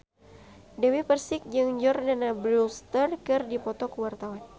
Dewi Persik jeung Jordana Brewster keur dipoto ku wartawan